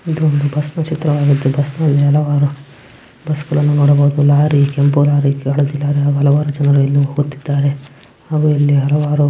ಇದು ಒಂದು ಬಸ್ನ್ ಚಿತ್ರವಾಗಿದ್ದು ಬಸ್ಸಿ ನಲ್ಲಿ ಹಲವರು ಬಸ್ ಗಳನ್ನು ನೋಡಬಹುದು ಲಾರಿ ಕೆಂಪು ಲಾರಿ ಹಳದಿ ಲಾರಿ ಹಲವರು ಜನರು ಇನ್ನೂ ಹೋಗುತ್ತಿದ್ದಾರೆ ಹಾಗೆ ಇಲ್ಲಿ ಹಲವಾರು --